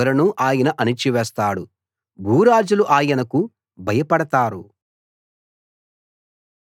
అధికారుల పొగరును ఆయన అణచివేస్తాడు భూరాజులు ఆయనకు భయపడతారు